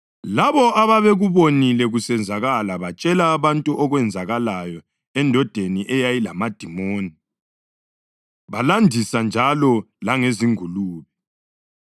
Labo ababekubonile kusenzakala batshela abantu okwenzakalayo endodeni eyayilamadimoni, balandisa njalo langezingulube.